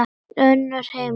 Önnur heimild og mynd